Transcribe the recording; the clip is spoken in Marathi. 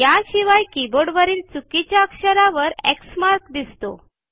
या शिवाय कीबोर्ड वरील चुकीच्या अक्षरावर एक्स मार्क दिसतो